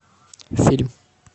фильм